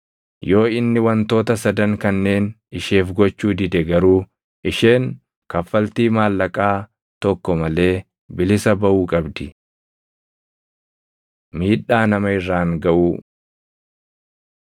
Yoo inni wantoota sadan kanneen isheef gochuu dide garuu isheen kaffaltii maallaqaa tokko malee bilisa baʼuu qabdi. Miidhaa Nama Irraan Gaʼuu